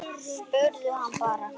Spurðu hann bara.